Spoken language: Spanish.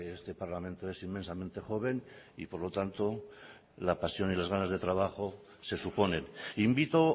este parlamento es inmensamente joven y por lo tanto la pasión y las ganas de trabajo se suponen invito